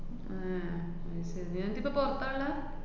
~അ ഉം അതു ശരി. എന്നിട്ടിപ്പ പുറത്താള്ളെ?